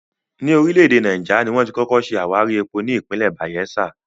Ní orílẹ̀ èdè Náíjà, ni wón ti kọ́kọ́ ṣe àwárí epo ní ìpínlẹ̀ Bàyẹ́sà